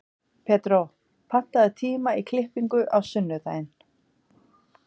Pedró, pantaðu tíma í klippingu á sunnudaginn.